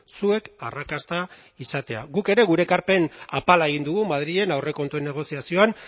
zuek arrakasta izatea guk ere gure ekarpen apala egin dugu madrilen aurrekontuen negoziazioan